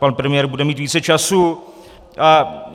Pan premiér bude mít více času.